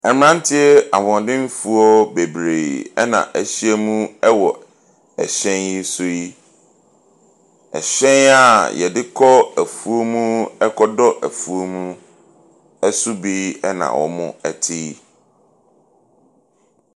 Mmeranteɛ ahoɔdemfoɔ bebree na wɔahyiam wɔ hyɛn yi so yi. Hyɛn a wɔde kɔ afuom kɔdɔ afuom. Ɛso bi na wɔte yi.